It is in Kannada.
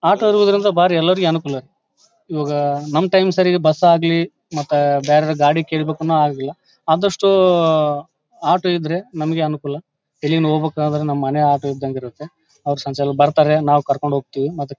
ಹಾಕೋದ್ರಿಂದ ಬಾರಿ ಎಲ್ಲಾರಗೂ ಅನುಕೂಲ. ಇವಾಗ ನಮ್ಮ ಟೈಮ್ ಸರಿ ಬಸ್ ಆಗಲಿ ಮತ್ತೆ ಬೇರೆ ಗಾಡಿ ಕೇಳಬೇಕು ಹಾಗಿಲ್ಲಾ. ಆದಷ್ಟು ಆಟೋ ಇದ್ರೆ ನಮ್ಮಗೆ ಅನುಕೂಲ ಎಲ್ಲಿನ ಹೋಗಬೇಕಾಂದ್ರೆ ನಮ್ಮ ಮನೆ ಆಟೋ ಇದ್ದಂಗೆ ಇರುತ್ತೆ ಬರತ್ತರೆ ನಾವ್ ಕರಕೊಂಡ್ ಹೋಗತ್ತೀವಿ ಮತ್ತೆ--